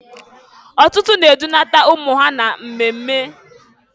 Ọtụtụ na-edunata ụmụ ha na mmemme.